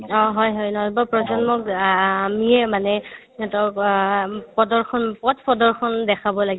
অ, হয় হয় নৱ-প্ৰজন্মক আ আমিয়ে মানে সিহঁতক আ উম প্ৰদৰ্শনৰূপত পথপ্ৰদৰ্শন দেখাব লাগিব